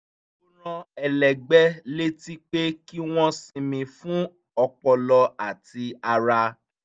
ó rán ẹlẹgbẹ́ létí pé kí wọ́n sinmi fún ọpọlọ àti ara